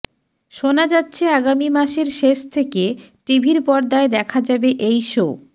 শোনা যাচ্ছে আগামী মাসের শেষ থেকে টিভির পর্দায় দেখা যাবে এই শো